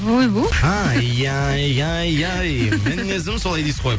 ойбу ай ай ай ай мінезім солай дейсіз ғой